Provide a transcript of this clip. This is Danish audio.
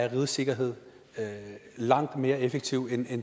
rigets sikkerhed langt mere effektivt end